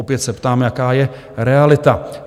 Opět se ptám, jaká je realita?